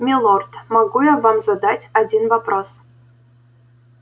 милорд могу я вам задать один вопрос